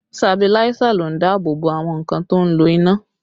Sabiláísà ló ń dáàbò àwọn nǹkan tó ń lo iná